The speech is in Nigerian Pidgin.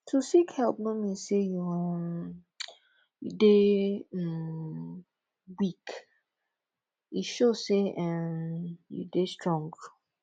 to seek help no mean sey you um dey um weak e show sey um you dey strong